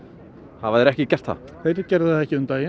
hafa þeir ekki gert það þeir gerðu það ekki um daginn